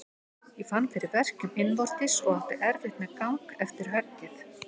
Ég fann fyrir verkjum innvortis og átti erfitt með gang eftir höggið.